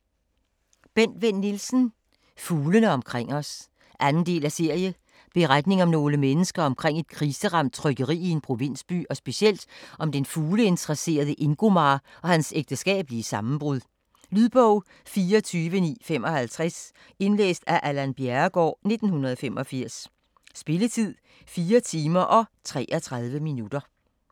Vinn Nielsen, Bent: Fuglene omkring os 2. del af serie. Beretning om nogle mennesker omkring et kriseramt trykkeri i en provinsby, og specielt om den fugleinteresserede Ingomar og hans ægteskabelige sammenbrud. Lydbog 24955 Indlæst af Allan Bjerregaard, 1985. Spilletid: 4 timer, 33 minutter.